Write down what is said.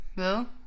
Hvad?